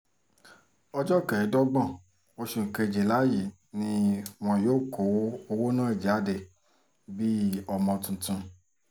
ọjọ́ kẹẹ̀ẹ́dógún oṣù kejìlá yìí ni wọn yóò kọ́ owó ná jáde bíi ọmọ tuntun